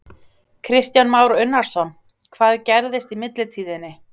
Kristján Már Unnarsson: Hvað gerðist í millitíðinni?